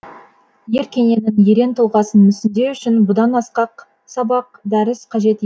ер кененің ерен тұлғасын мүсіндеу үшін бұдан асқақ сабақ дәріс қажет